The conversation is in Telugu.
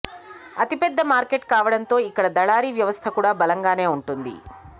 అతి పెద్ద మార్కెట్ కావడంతో ఇక్కడ దళారీ వ్యవస్థ కూడా బలంగానే ఉంటుంది